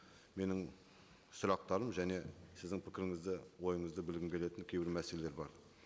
менің сұрақтарым және сіздің пікіріңізді ойыңызды білгім келетін кейбір мәселелер бар